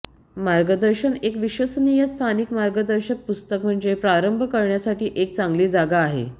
मार्गदर्शन एक विश्वसनीय स्थानिक मार्गदर्शक पुस्तक म्हणजे प्रारंभ करण्यासाठी एक चांगली जागा आहे